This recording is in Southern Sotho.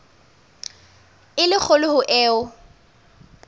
e le kgolo ho eo